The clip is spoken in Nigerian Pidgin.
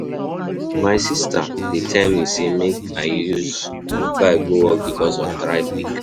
My sista dey tell me sey make I use bike go work because of traffic.